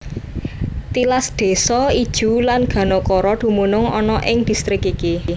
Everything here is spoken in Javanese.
Tilas désa Ijuw lan Ganokoro dumunung ana ing distrik iki